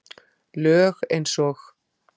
Lög eins og